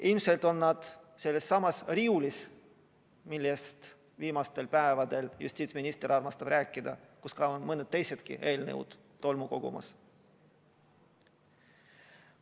Ilmselt on nad sellessamas riiulis, millest viimastel päevadel justiitsminister armastab rääkida, kus on mõni teinegi eelnõu tolmu kogumas.